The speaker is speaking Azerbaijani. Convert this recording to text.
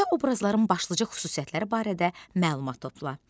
Əsərdə obrazların başlıca xüsusiyyətləri barədə məlumat topla.